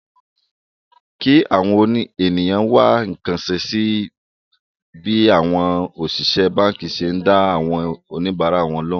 kí àwọn ènìyàn wá nǹkan ṣe sí bí àwọn òṣìṣẹ́ báǹkì ṣe ń dá àwọn oníbàárà lóhùn